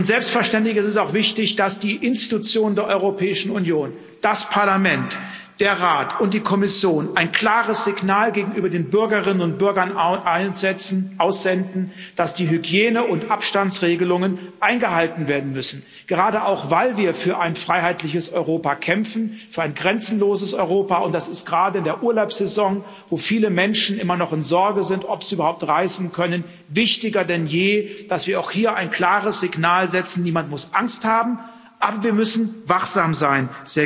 Selbstverständlich ist es auch wichtig, dass die Organe der Europäischen Union das Parlament, der Rat und die Kommission ein klares Signal gegenüber den Bürgerinnen und Bürgern aussenden, dass die Hygiene und Abstandsregelungen eingehalten werden müssen, gerade auch weil wir für ein freiheitliches Europa, für ein grenzenloses Europa kämpfen. Und es ist gerade in der Urlaubssaison, wo viele Menschen immer noch in Sorge sind, ob sie überhaupt reisen können, wichtiger denn je, dass wir auch hier ein klares Signal setzen Niemand muss Angst haben, aber wir müssen wachsam sein.